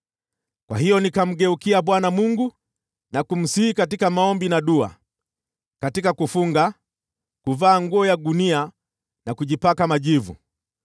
Kwa hiyo nikamgeukia Bwana Mungu na kumsihi katika maombi na dua, katika kufunga, na kuvaa nguo ya gunia na kujipaka majivu.